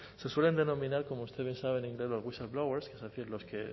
se suelen denominar como usted bien sabe los que